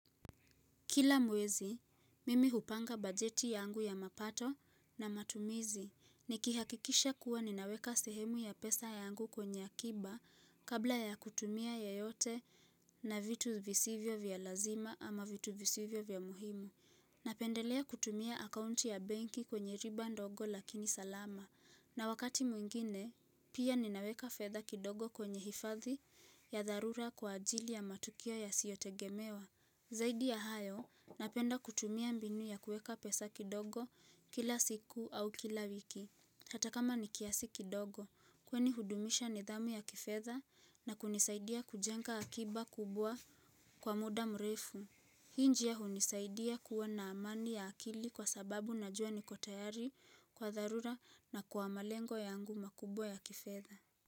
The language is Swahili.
Kila mwezi, mimi hupanga bajeti yangu ya mapato na matumizi. Nikihakikisha kuwa ninaweka sehemu ya pesa yangu kwenye akiba kabla ya kutumia yeyote na vitu visivyo vya lazima ama vitu visivyo vya muhimu. Napendelea kutumia akaunti ya benki kwenye riba ndogo lakini salama. Na wakati mwingine, pia ninaweka fedha kidogo kwenye hifadhi ya dharura kwa ajili ya matukio yasiyotegemewa. Zaidi ya hayo, napenda kutumia mbinu ya kueka pesa kidogo kila siku au kila wiki. Hata kama ni kiasi kidogo, kwani hudumisha nidhamu ya kifedha na kunisaidia kujenga akiba kubwa kwa muda mrefu. Hii njia hunisaidia kuwa na amani ya akili kwa sababu najua niko tayari kwa dharura na kwa malengo yangu makubwa ya kifedha.